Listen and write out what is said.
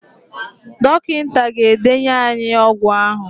Dọkịta ga-edenye ànyị ọgwụ ahụ.